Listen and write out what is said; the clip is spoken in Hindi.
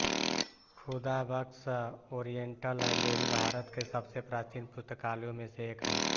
खुदाबक़्श ओरियेन्टल लाइब्रेरी भारत के सबसे प्राचीन पुस्तकालयों में से एक है